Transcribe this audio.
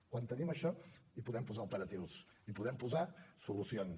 quan tenim això hi podem posar operatius hi podem posar solucions